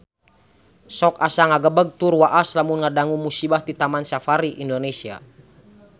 Sok asa ngagebeg tur waas lamun ngadangu musibah di Taman Safari Indonesia